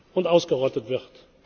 und ausgerottet